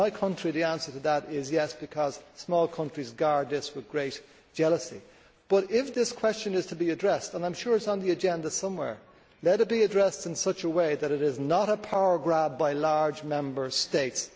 In my country the answer to that is Yes', because small countries guard this with great jealousy. But if this question is to be addressed and I am sure it is on the agenda somewhere let it be addressed in such a way that it is not a power grab by large Member States.